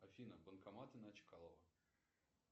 афина банкоматы на чкалова